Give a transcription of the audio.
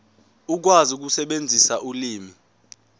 ukwazi ukusebenzisa ulimi